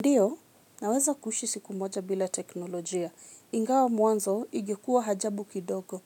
Ndiyo, naweza kuishi siku moja bila teknolojia. Ingawa mwanzo, ingekuwa ajabu kidogo.